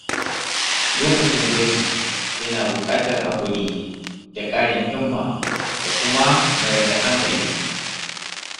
Lokacin gwaji yana buƙatar haƙuri da ƙarin himma da kuma mayar da hankali.